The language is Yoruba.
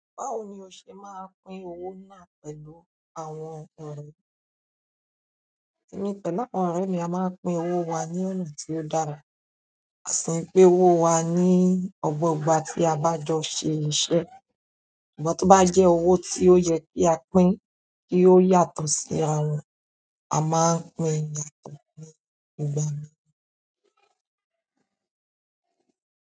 Báwo ni o ṣe máa ń pín owó náà pẹ̀lú àwọn ọkùnrin. Emi pẹ̀lú àwọn ọ̀rẹ́ mi a máa ń pín owó wa ní ọ̀nà tí ó dára. A sin pín owó wa ní ogbo ìgbà tí a bá jọ ṣe iṣẹ́ ṣùgbọ́n tó bá jẹ́ owó tí ó yẹ kí a pín kí ó yàtọ̀ sí ara wọn, a máa ń pín----